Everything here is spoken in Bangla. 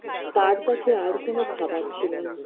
তার কাছে আর কোন খাবার ছিল না